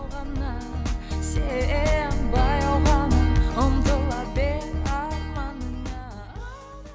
ғана сен баяу ғана ұмтыла бер арманыңа